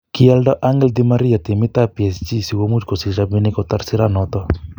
Kioldo Angel Di Maria timit ap Psg sikomuch kosich rapinik kotar siranoton.